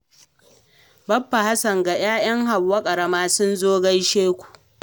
Baffa Hassan ga ƴaƴan Hawwa ƙarama sun zo su gaishe ku.